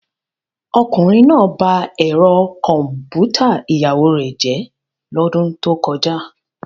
Ọkùnrin náà ba ẹ̀rọ kọ̀m̀pútà ìyàwó rẹ̀ jẹ́ lọ́dún tó kọjá.